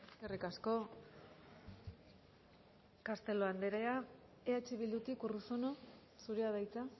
eskerrik asko castelo andrea eh bildutik urruzuno zurea da hitza